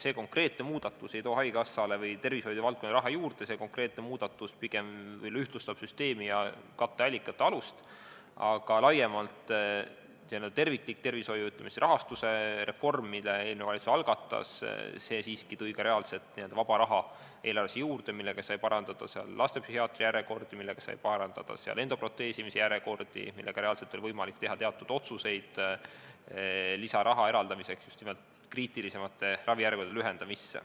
See konkreetne muudatus ei too haigekassale või tervishoiuvaldkonnale raha juurde, see pigem ühtlustab süsteemi ja katteallikate alust, aga laiemalt terviklik tervishoiu rahastamise reform, mille eelmine valitsus algatas, siiski tõi ka reaalselt vaba raha eelarvesse juurde, millega sai lühendada järjekordi lastepsühhiaatri juurde ja endoproteesimise järjekordi, reaalselt oli võimalik teha teatud otsuseid lisaraha eraldamiseks just nimelt kriitilisemate järjekordade lühendamiseks.